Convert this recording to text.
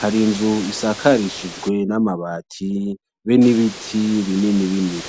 hari inzu isakarishijwe n'amabati be n'ibiti bini bini.